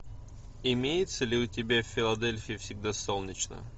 имеется ли у тебя в филадельфии всегда солнечно